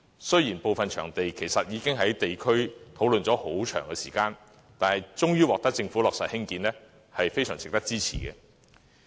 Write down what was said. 雖然部分興建場地的建議，已經在地區討論了很長時間，但最終獲得政府落實，仍是非常值得支持的。